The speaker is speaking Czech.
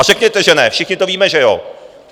A řekněte, že ne - všichni to víme, že jo.